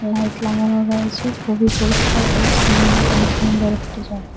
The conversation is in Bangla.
লাইট লাগানো রয়েছে খুবই পরিষ্কার পরিচ্ছন্ন এবং সুন্দর একটি জায়গা।